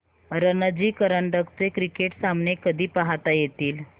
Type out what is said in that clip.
रणजी करंडक चे क्रिकेट सामने कधी पाहता येतील